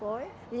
Foi.